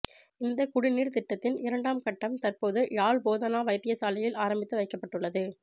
இந்த குடிநீர் திட்டத்தின் இரண்டாம்கட்டம் தற்போது யாழ் போதனா வைத்தியசாலையில் ஆரம்பித்து வைக்கப்பட்டுள்ளது